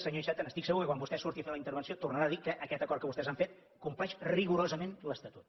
senyor iceta estic segur que quan vostè surti a fer la intervenció tornarà a dir que aquest acord que vostès han fet compleix rigorosament l’estatut